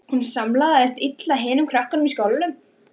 Hún samlagaðist illa hinum krökkunum í skólanum.